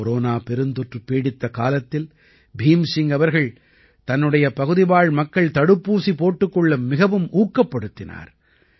corona பெருந்தொற்று பீடித்த காலத்தில் பீம் சிங் அவர்கள் தன்னுடைய பகுதிவாழ் மக்கள் தடுப்பூசி போட்டுக் கொள்ள மிகவும் ஊக்கப்படுத்தினார்